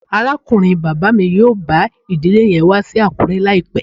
Arakunrin baba mi yoo ba idile yen wa si Akure laipẹ